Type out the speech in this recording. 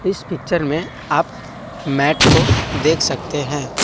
इस पिक्चर में आप मैट को देख सकते हैं।